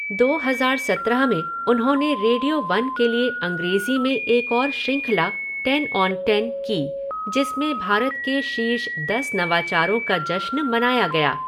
दो हज़ार सत्रह में उन्होंने रेडियो वन के लिए अंग्रेज़ी में एक और श्रृंखला, 'टेन ऑन टेन', की जिसमें भारत के शीर्ष दस नवाचारों का जश्न मनाया गया।